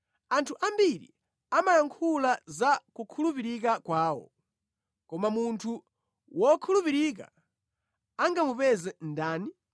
Anthu ambiri amayankhula za kukhulupirika kwawo, koma munthu wokhulupirika angamupeze ndani?